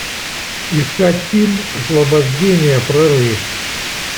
искать фильм освобождение прорыв